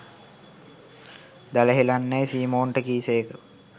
දැල හෙළන්නැයි සීමොන්ට කී සේක